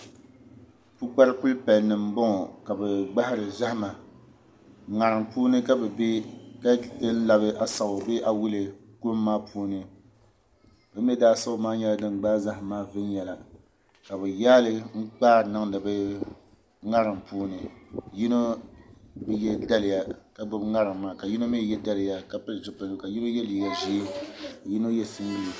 pukpari kul' palinima m-bɔŋɔ ka bɛ gbahiri zahima ŋarim puuni ka bɛ be ka labi Asawu bee awulee kuliga maa puuni bɛ mi daasawu maa nyɛla din gbaai zahim maa viɛnyala ka bɛ yaai li n-kpari niŋdi bɛ ŋarim puuni yino bi ye daliya ka gbubi ŋarim maa ka yino mi ye daliya ka pili zupiligu ka yino ye liiga ʒee ka yino ye singileeti.